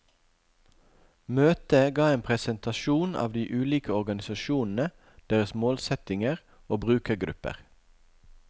Møte ga en presentasjon av de ulike organisasjonene, deres målsettinger og brukergrupper.